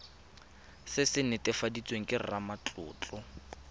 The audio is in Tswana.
se se netefaditsweng ke ramatlotlo